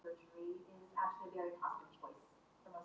Það reyna allir leikmenn að tjasla sér saman fyrir þennan leik.